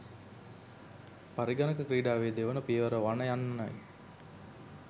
පරිගණක ක්‍රිඩාවෙ දෙවන පියවර වනයන්නයි.